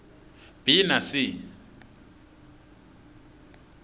b na c